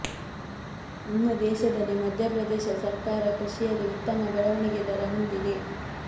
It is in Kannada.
ಇನ್ನು ದೇಶದಲ್ಲಿ ಮಧ್ಯಪ್ರದೇಶ ಸರ್ಕಾರ ಕೃಷಿಯಲ್ಲಿ ಉತ್ತಮ ಬೆಳವಣಿಗೆ ದರ ಹೊಂದಿದೆ